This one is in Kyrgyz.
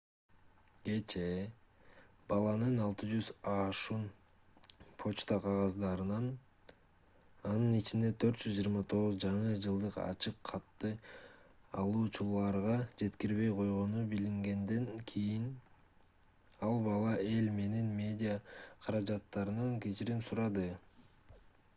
кечээ баланын 600 ашуун почта кагаздарын анын ичинде 429 жаңы жылдык ачык катты алуучуларга жеткирбей койгону билингенден кийин ал бала эл менен медиа каражаттарынан кечирим сурады